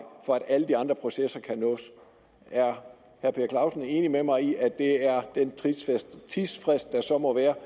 for at alle de andre processer kan nås er herre per clausen enig med mig i at det er den tidsfrist der så må være